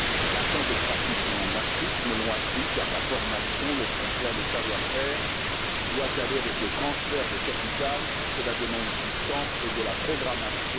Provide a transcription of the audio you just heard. Vingt ans de pratique en Afrique me l'ont appris, car la formation et le transfert des savoir faire doivent aller de pair avec le transfert de capital cela demande du temps et de la programmation.